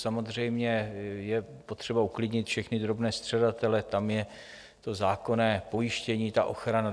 Samozřejmě je potřeba uklidnit všechny drobné střadatele, tam je to zákonné pojištění, ta ochrana.